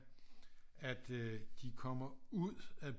At øh de kommer ud af